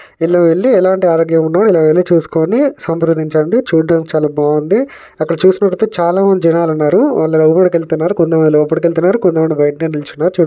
ఇలా వెళ్లి ఎలాంటి ఆరోగ్యం ఉన్న ఇలా వెళ్లి చూసుకొని సంప్రదించండి చూడడానికి చాలా బాగుంది అక్కడ చూసినట్టయితే చాలామంది జనాలున్నారు వాళ్లు లోపటికి వెళ్తున్నారు. కొంతమంది లోపటికి వెళ్తున్నారు కొంతమంది బయటనే నిల్చున్నారు. చూ --